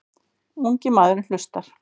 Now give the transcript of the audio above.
Ungi maðurinn hlustar.